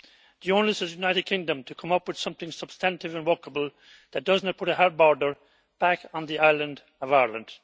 The onus is on the United Kingdom to come up with something substantive and workable, that does not put a hard border back on the island of Ireland.